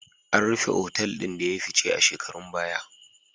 An rufe otal ɗin da ya yi fice a shekarun baya.